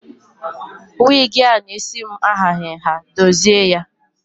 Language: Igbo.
Wigi a na isi m ahaghị nha, dozie ya!